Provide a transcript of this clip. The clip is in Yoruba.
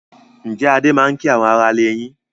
Ǹjẹ́ Adé máa ń kí àwọn aráalé yín?